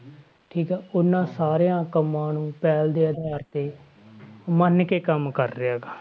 ਠੀਕ ਆ ਉਹਨਾਂ ਸਾਰਿਆਂ ਕੰਮਾਂ ਪਹਿਲ ਦੇ ਆਧਾਰ ਤੇ ਮੰਨ ਕੇ ਕੰਮ ਕਰ ਰਿਹਾ ਗਾ।